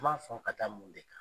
N ma sɔn ka taa mun kɛ?